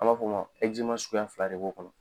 A b'a f'ɔ ma suguya fila de b'o kɔnɔ.